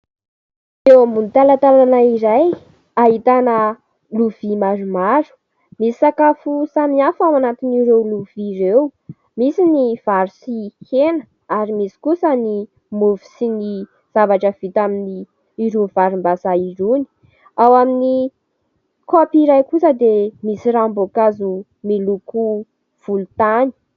Eo ambony talantalana iray, ahitana lovia maromaro. Misy sakafo samihafa ao anatin'ireo lovia ireo : misy ny vary sy hena, ary misy kosa ny mofo sy ny zavatra vita amin'irony varim-bazaha irony. Ao amin'ny kaopy iray kosa dia misy ranom-boankazo miloko volontany.